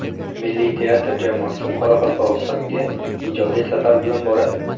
Milliy teatr jamoasi Qoraqalpog‘istonga ijodiy safar bilan boradi.